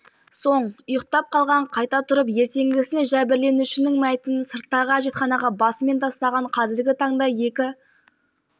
тойған үшеу өзара сөзге керісіп қалған салдарынан денис ботнаревті қасындағы екі бөтелкелесі қастықпен өлтірген айта